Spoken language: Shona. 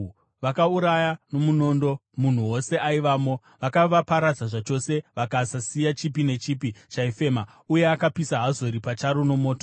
Vakauraya nomunondo munhu wose aivamo. Vakavaparadza zvachose, vakasasiya chipi nechipi chaifema, uye akapisa Hazori pacharo nomoto.